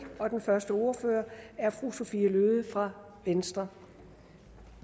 og den første ordfører er fru sophie løhde fra venstre